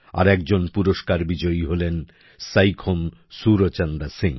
আর একজন পুরস্কার বিজয়ী হলেন সাইখোম সুরচন্দ্রা সিং